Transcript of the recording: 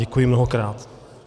Děkuji mnohokrát.